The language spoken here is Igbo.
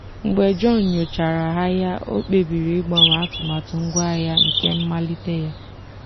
mgbe john nyochachara ahịa o kpebiri ịgbanwe atụmatụ ngwaahịa nke mmalite ya.